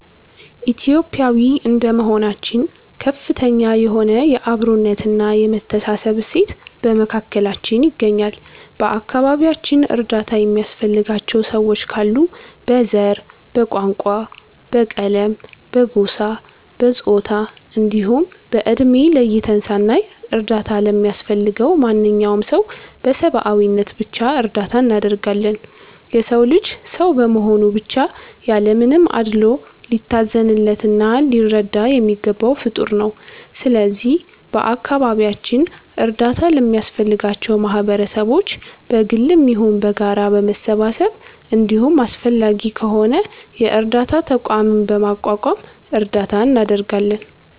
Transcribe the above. ኢትዮጲያዊ እንደመሆናችን ከፍተኛ የሆነ የ አብሮነት እና የመተሳሰብ እሴት በመካከላችን ይገኛል። በ አከባቢያችን እርዳታ የሚያስፈልጋቸው ሰዎች ካሉ በ ዘር፣ በቋንቋ፣ በቀለም፣ በጎሳ፣ በፆታ እንዲሁም በ እድሜ ለይተን ሳናይ እርዳታ ለሚያስፈልገው ማንኛውም ሰው በ ሰብዓዊነት ብቻ እርዳታ እናደርጋለን። የ ሰው ልጅ ሰው በመሆኑ ብቻ ያለ ምንም አድሎ ሊታዘንለት እና ሊረዳ የሚገባው ፍጠር ነው። ስለዚህ በ አካባቢያችን እርዳታ ለሚያስፈልጋቸው ማህበረሰቦች በ ግልም ይሁን በጋራ በመሰባሰብ እንዲሁም አስፈላጊ ከሆነ የ እርዳታ ተቋምም በማቋቋም እርዳታ እናደርጋለን።